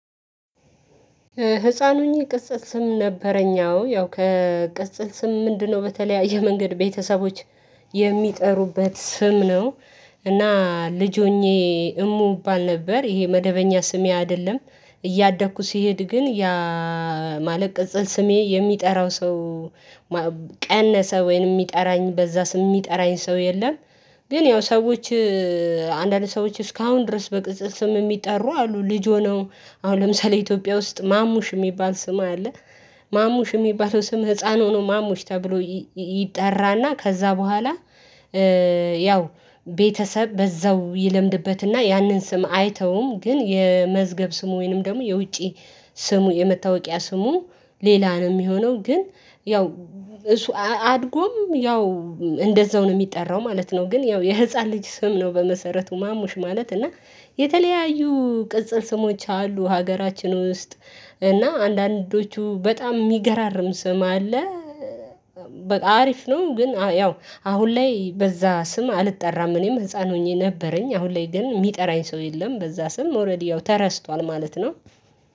ህፃን ሁኜ ቅጽል ስም ነበረኝ አዎ ያው ከቅፅል ስም ምንድነው? በተለያየ መንገድ ቤተሰቦች የሚጠሩበት ስም ነው። እና ልጅ ሆኜ እሙ ባል ነበር ይሄ መደበኛ ስሜ አይደለም። እያደኩ ስሄድ ግን ያ ማለት ቅጽል ስሜ የሚጠራው ሰው ቀነሰ ወይንም የሚጠራኝ በዛ ስም የሚጠራኝ ሰው የለም። ግን ያው ሰዎች አንዳንድ ሰዎች እስካሁን ድረስ በቅጽል ስም የሚጠሩ አሉ። ልጅ ሆነው አሁን ለምሳሌ ኢትዮጵያ ውስጥ ማሙሽ የሚባል ስም አለ። ማሙሽ የሚባለው ስም ህፃን ሆኖ ማሙሽ ተብሎ ይጠራና ከዛ በኋላ። ያው ቤተሰብ በዛው ይለምድበትና ያንን ስም አይተውም ግን የመዝገብ ስሙ ወይንም ደግሞ የውጪ ስሙ የመታወቂያ ስሙ ሌላ ነው የሚሆነው። ግን ያው እሱ አድጎም ያው እንደዛው ነው የሚጠራው ማለት ነው። ግን ያው የህፃን ልጅ ስም ነው። በመሰረቱ ማሙሽ ማለት እና የተለያዩ ቅጽል ስሞች አሉ ሀገራችን ውስጥ። እና አንዳንዶቹ በጣም የሚገራርም ስም አለ። በቃ አሪፍ ነው ግን ያው አሁን ላይ በዛ ስም አልጠራም እኔም ህፃን ሆኜ ነበረኝ አሁን ላይ ግን የሚጠራኝ ሰው የለም በዛ ስም ኦሬዲ ያው ተረስቷል ማለት ነው።